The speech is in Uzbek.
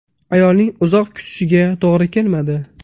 Ayolning uzoq kutishiga to‘g‘ri kelmadi.